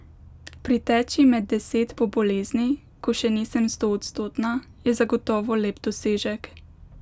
Priteči med deset po bolezni, ko še nisem stoodstotna, je zagotovo lep dosežek.